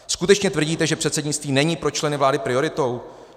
Skutečně tvrdíte, že předsednictví není pro členy vlády prioritou?